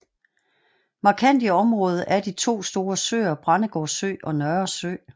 Markant i området er de to store søer Brændegård Sø og Nørresø